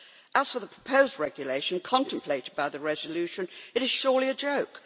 As for the proposed regulation contemplated by the resolution, it is surely a joke.